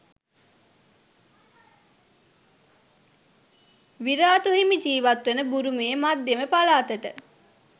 විරාතු හිමි ජීවත් වන බුරුමයේ මධ්‍යම පළාතට